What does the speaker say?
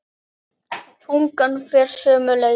Tungan fer sömu leið.